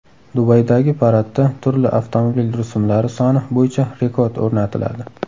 Dubaydagi paradda turli avtomobil rusumlari soni bo‘yicha rekord o‘rnatiladi.